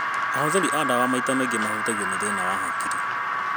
Ahũthĩri a ndawa maita maingĩ mahutagio nĩ thĩna wa hakiri.